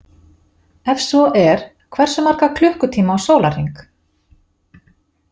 Ef svo er hversu marga klukkutíma á sólarhring?